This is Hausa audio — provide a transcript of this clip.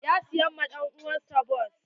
Ya saya wa dan uwan sa bas.